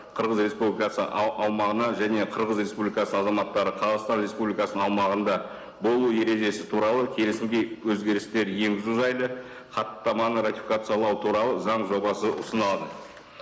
қырғыз республикасы аумағына және қырғыз республикасы азаматтары қазақстан республикасының аумағында болу ережесі туралы келісімге өзгерістер енгізу жайлы хаттаманы ратификациялау туралы заң жобасы ұсынылады